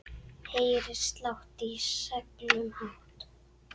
Heyri slátt í seglum hátt.